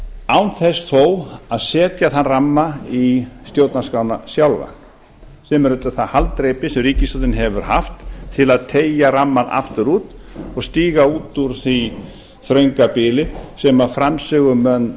án þess þó að setja þann ramma í stjórnarskrána sjálfa sem er auðvitað það haldreipi sem ríkisstjórnin hefur haft til að teygja rammann aftur út og stíga út úr því þrönga bili sem framsögumenn